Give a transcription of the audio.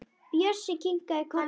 Bjössi kinkar kolli.